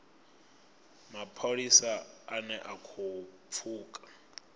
mapholisa ane a khou pfuka